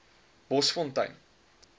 bosfontein